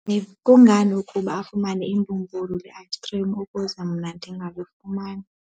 Kungani ukuba afumane imbumbulu le-ayisikhrim ukuze mna ndingalifumani?